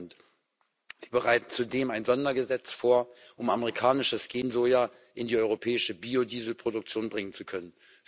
9 Sie bereiten zudem ein Sondergesetz vor, um amerikanisches Gen Soja in die europäische Biodieselproduktion bringen zu können.